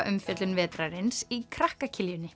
bókaumfjöllun vetrarins í krakka